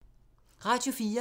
Radio 4